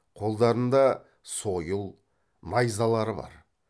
қолдарында сойыл найзалары бар